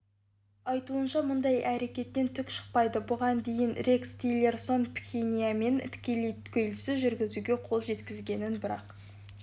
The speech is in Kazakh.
айтуынша мұндай әрекеттен түк шықпайды бұған дейін рекс тиллерсон пхеньянмен тікелей келіссөз жүргізуге қол жеткізгенін бірақ